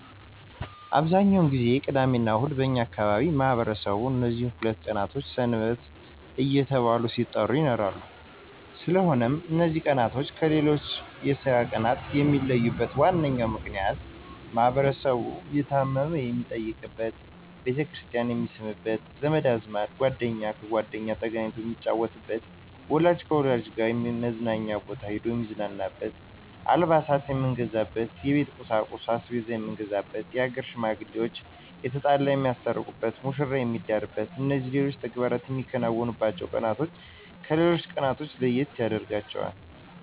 አብዛኛውን ጊዜ ቅዳሚና እሁድ በእኛ አካባቢ ማህበረሰቡ እነዚህ ሁለት ቀኖች ሰንበት እየተባሉ ሲጠሩ ይኖራሉ ስለሆነም እነዚ ቀናቶች ከሌሎች የስራ ቀናት የሚለዩበት ዋናው ምክንያት ማህበረሰቡ የታመመ የሚጠይቅበት፣ ቤተክርስቲያን የሚስምበት፣ ዘመድ ከዘመድ ጓደኛ ከጓደኛ ተገናኝቶ የሚጫወትበት፣ ወላጅ ከልጆች ጋር መዝናኛ ቦታ ሂዶ የሚዝናናበት፣ አልባሳት የምንገዛበት፣ የቤት ቁሳቁስ(አስቤዛ የምንገዛበት)የሀገር ሽማግሌዋች የተጣላ የሚያስታርቁበት፣ መሽራ የሚዳርበት እነዚህና ሌሎች ተግባራት የምናከናውንባቸው ቀናቶች ከሌሎች ቀናቶች የተለዩ ያደርጋቸዋል።